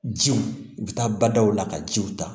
Jiw u bɛ taa badaw la ka jiw ta